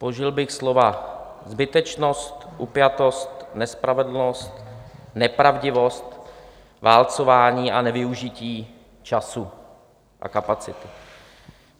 Použil bych slova zbytečnost, upjatost, nespravedlnost, nepravdivost, válcování a nevyužití času a kapacit.